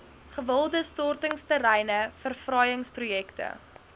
gewilde stortingsterreine verfraaiingsprojekte